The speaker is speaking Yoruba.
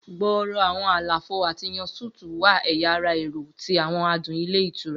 Gbooro awọn alafo ati yàn suites wà ẹya ara ẹrọ ti awọn adun ilé ítura.